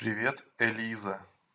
привет элиза